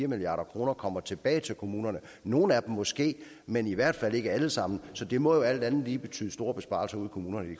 milliard kroner kommer tilbage til kommunerne nogle af dem måske men i hvert fald ikke alle sammen så det må alt andet lige betyde store besparelser ude i kommunerne